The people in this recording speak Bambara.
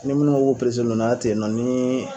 Ali ni munnu ko k'a pereselendon n'a ten y'en nɔ nin